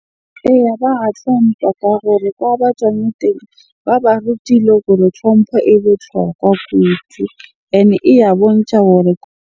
Eya, ba ka gore kwa ba tswang teng. Ba ba rutile gore tlhompho e botlhokwa kudu. Ene e ya bontsha gore .